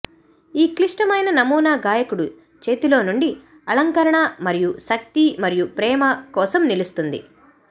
ఈ క్లిష్టమైన నమూనా గాయకుడు చేతిలోనుండి అలంకరణ మరియు శక్తి మరియు ప్రేమ కోసం నిలుస్తుంది